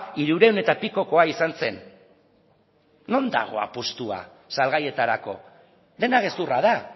hirurehun eta pikokoa izan zen non dago apustua salgaietarako dena gezurra da